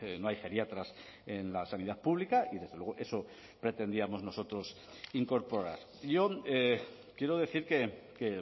no hay geriatras en la sanidad pública y desde luego eso pretendíamos nosotros incorporar yo quiero decir que